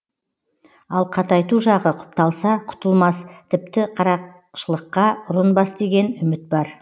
ал қатайту жағы құпталса құтылмас тіпті қарақшылыққа ұрынбас деген үміт бар